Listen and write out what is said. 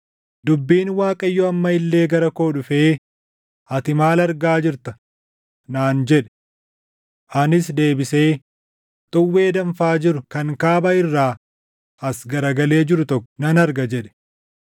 Dubbiin Waaqayyoo amma illee gara koo dhufee, “Ati maal argaa jirta?” naan jedhe. Anis deebisee, “Xuwwee danfaa jiru kan kaaba irraa as garagalee jiru tokko nan arga” jedhe.